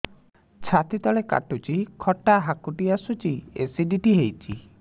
ଛାତି ତଳେ କାଟୁଚି ଖଟା ହାକୁଟି ଆସୁଚି ଏସିଡିଟି ହେଇଚି